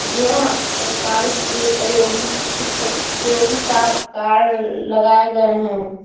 यह प्रकार के प्रयोगी की की प्रयोगी का कार्य लगाए गए हैं।